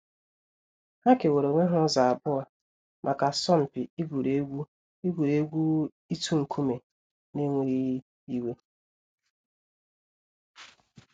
Ha kewaara onwe ha ụzọ abụọ maka asọmpi igwuri egwu igwuri egwu ịtụ nkume n’enweghị iwe.